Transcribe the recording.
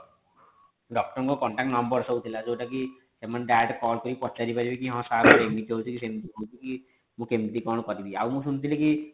doctor ଙ୍କ contact number ସବୁ ଥିଲା ଯୋଉଟା କି ସେମାନେ direct call କରି ପଚାରି ପାରିବେ କି ହଁ ହଁ ଏମିତି ହୋଉଛି କି ସେମିତି ହୋଉଛି କି ମୁଁ କେମିତି କଣ କରିବି ଆଉ ମୁଁ ଶୁଣିଥିଲି କି